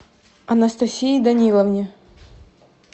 анастасии даниловне